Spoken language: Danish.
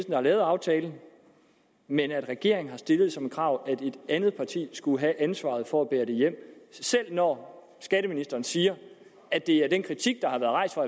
der har lavet aftalen men regeringen har stillet som krav at et andet parti skulle have ansvaret for at bære den hjem selv om skatteministeren siger at det er den kritik der har været rejst fra